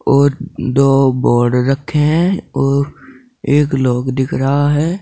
और दो बोर्ड रखे हैं और एक लोग दिख रहा है।